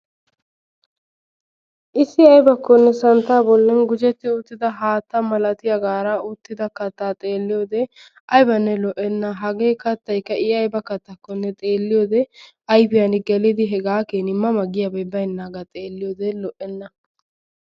issi aybakkone santtaa bollan gujjetti uttida haatta malatiyaagara uuttida kaattaa xeelliyoode aybbanne lo"enna. hagee kaattaykka i aybba kaattakonne xeeliyoode ayfiyaan hegaa keeni ma ma giyay baynnagaa xeelliyoode lo"enna.